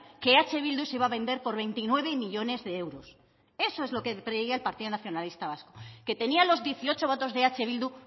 que eh bildu se iba a vender por veintinueve millónes de euros eso es lo que creía el partido nacionalista vasco que tenía los dieciocho votos de eh bildu